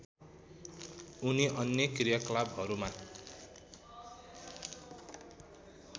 उनी अन्य कृयाकलापहरूमा